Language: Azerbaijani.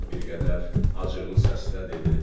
Bir qədər acıqlı səslə dedi: